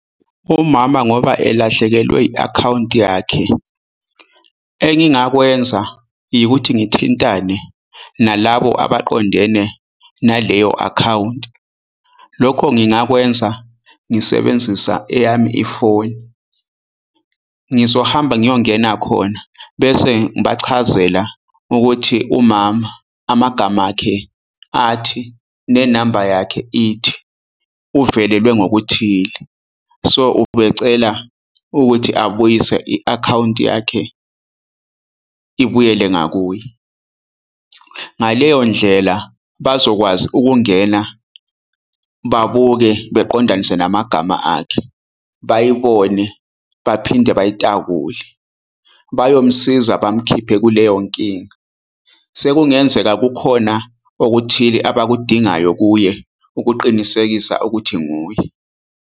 Umama ngoba elahlekelwe i-akhawunti yakhe engingakwenza yikuthi ngithintane nalabo abaqondene naleyo-akhawunti. Lokho ngingakwenza ngisebenzisa eyami ifoni. Ngizohamba ngiyongena khona bese ngibachazela ukuthi umama amagama akhe athi nenamba yakhe ithi uvelelwe ngokuthile, so ubecela ukuthi abuyise i-akhawunti yakhe ibuyele ngakuye. Ngaleyo ndlela, bazokwazi ukungena babuke beqondanise, namagama akhe bayibone, baphinde bayitakule bayomsiza, bamkhiphe kuleyo nkinga. Sekungenzeka kukhona okuthile abakudingayo kuye ukuqinisekisa ukuthi nguye.